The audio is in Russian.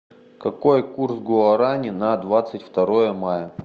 какой курс гуарани на двадцать второе мая